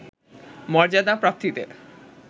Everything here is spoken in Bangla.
মর্যাদা প্রাপ্তিতে